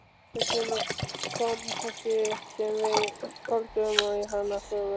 Þess vegna kannski sem við skálduðum um hana sögu.